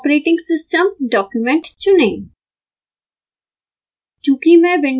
आवश्यक operating system document चुनें